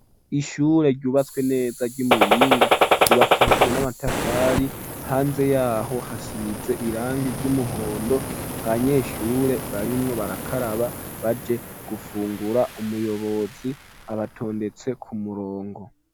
Ishure ryubatswe neza ryi Muhinga ryubakishijwe n'amatafari hanze yaho hasize irangi ryumuhondo abanyeshure barimwo barakaraba baje gufungura umuyobozi abatondetse ku murongo.